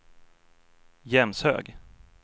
Jämshög